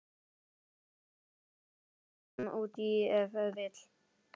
Bætið sósulit út í ef vill.